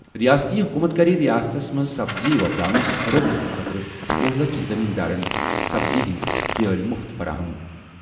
رِیٲستی حُکوٗمت کَرِ رِیاستس منٛز سبزی وۄپداونس فروغ دِنہٕ خٲطرٕ وہُ لَچھ زَمیٖن دارن سبزی ہِنٛدِ بیٛٲلہِ مُفت فراہم۔